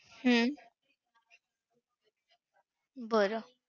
हम्म बरं!